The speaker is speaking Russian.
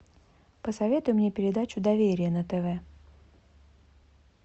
посоветуй мне передачу доверие на тв